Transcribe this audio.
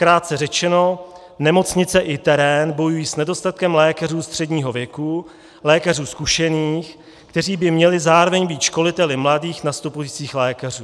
Krátce řečeno, nemocnice i terén bojují s nedostatkem lékařů středního věku, lékařů zkušených, kteří by měli zároveň být školiteli mladých nastupujících lékařů.